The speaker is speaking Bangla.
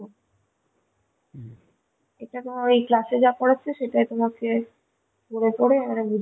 এটা তোমার ওই class তে যা পরাছে সেটাই তোমাকে পড়ে পড়ে মানে বুঝে